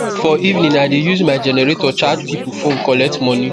for evening i de use my generator charge pipul phone collect moni